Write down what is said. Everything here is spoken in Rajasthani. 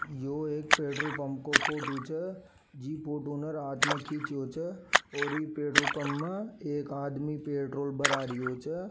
यो एक पेट्रोल पंप को फोटो छे जी फोटो ने रात में खीचियो छे और ई पेट्रोल पंप में एक आदमी पेट्रोल भरा रियो छे।